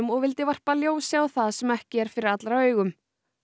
og vildi varpa ljósi á það sem ekki er fyrir allra augum